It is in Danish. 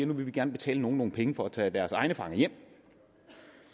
nu vil vi gerne betale nogen nogle penge for at tage deres egne fanger hjem